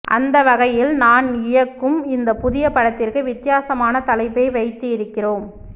அந்த வகையில் நான் இயக்கும் இந்த புதிய படத்திற்கு வித்தி யாசமான தலைப்பை வைத்து இருக்கிறோம்